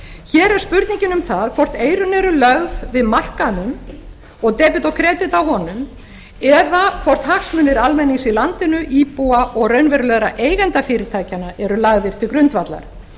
hér er spurningin um það hvort eyrun eru lögð við markaðnum og debet og kredit á honum eða hvort hagsmunir almennings í landinu íbúa og raunverulegra eigenda fyrirtækjanna eru lagðir til grundvallar